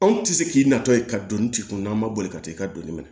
Anw tɛ se k'i natɔ ye ka don tigi kunna an ma boli ka taa i ka donni minɛ